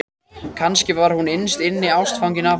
Kannski var hún innst inni ástfangin af honum.